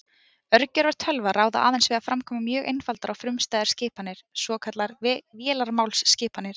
Örgjörvar tölva ráða aðeins við að framkvæma mjög einfaldar og frumstæðar skipanir, svokallaðar vélarmálsskipanir.